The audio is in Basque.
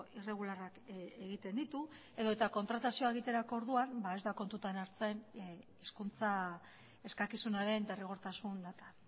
irregularrak egiten ditu edota kontratazioa egiterako orduan ez da kontutan hartzen hizkuntza eskakizunaren derrigortasun data